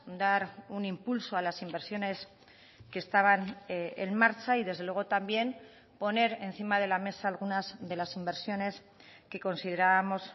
dar un impulso a las inversiones que estaban en marcha y desde luego también poner encima de la mesa algunas de las inversiones que considerábamos